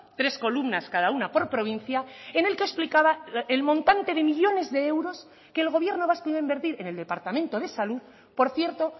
tres columnas cada una por provincia en el que explicaba el montante de millónes de euros que el gobierno vasco iba a invertir en el departamento de salud por cierto